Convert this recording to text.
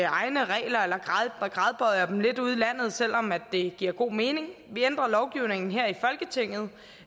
egne regler eller gradbøjer dem lidt ude i landet selv om det giver god mening vi ændrer lovgivningen her i folketinget